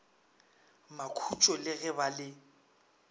makhutšo le ge ba le